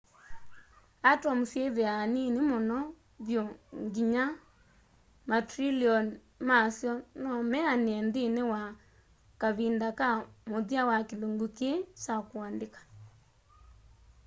atom syĩthĩaa niini mũno vyũ nginya ma trillion ma'syo nomeanĩe nthĩnĩ wa kavinda ka mũthia wa kĩlungu kĩĩ kya kũandĩka